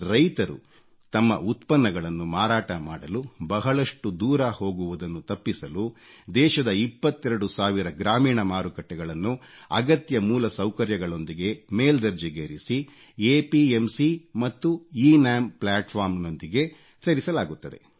ರೈತರು ತಮ್ಮ ಉತ್ಪನ್ನಗಳನ್ನು ಮಾರಾಟ ಮಾಡಲು ಬಹಳಷ್ಟು ದೂರ ಹೋಗುವುದನ್ನು ತಪ್ಪಿಸಲು ದೇಶದ 22 ಸಾವಿರ ಗ್ರಾಮೀಣ ಮಾರುಕಟ್ಟೆಗಳನ್ನು ಅಗತ್ಯ ಮೂಲಸೌಕರ್ಯಗಳೊಂದಿಗೆ ಮೇಲ್ದರ್ಜೆಗೇರಿಸಿ ಎಪಿಎಂಸಿ ಮತ್ತು ಎನಾಮ್ ಪ್ಲಾಟ್ಫಾರ್ಮ್ ಗಳೊಂದಿಗೆ ಸೇರಿಸಲಾಗುತ್ತದೆ